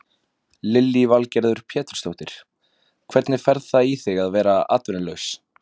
Lillý Valgerður Pétursdóttir: Hvernig fer það í þig að vera atvinnulaus?